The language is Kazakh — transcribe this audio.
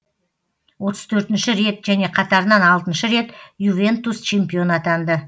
отыз төртінші рет және қатарынан алтыншы рет ювентус чемпион атанды